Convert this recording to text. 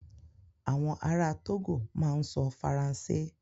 Àwọn ará Togo máa ń sọ Faransé.